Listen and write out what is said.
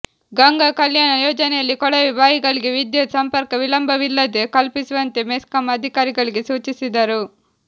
ಗಂಗಾ ಕಲ್ಯಾಣ ಯೋಜನೆಯಲ್ಲಿ ಕೊಳವೆ ಬಾವಿಗಳಿಗೆ ವಿದ್ಯುತ್ ಸಂಪರ್ಕ ವಿಳಂಬವಿಲ್ಲದೆ ಕಲ್ಪಿಸುವಂತೆ ಮೆಸ್ಕಾಂ ಅಧಿಕಾರಿಗಳಿಗೆ ಸೂಚಿಸಿದರು